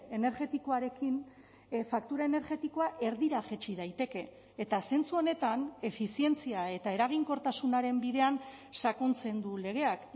energetikoarekin faktura energetikoa erdira jaitsi daiteke eta zentzu honetan efizientzia eta eraginkortasunaren bidean sakontzen du legeak